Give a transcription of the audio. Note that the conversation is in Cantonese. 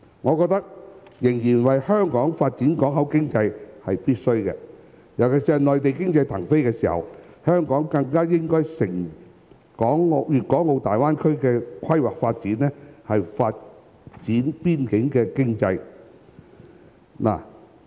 我認為香港繼續發展口岸經濟是必須的，尤其是正值內地經濟騰飛時，香港更應藉粵港澳大灣區規劃發展的機會，發展邊境經濟。